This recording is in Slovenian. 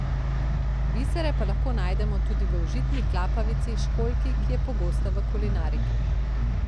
Bisere pa lahko najdemo tudi v užitni klapavici, školjki, ki je pogosta v kulinariki.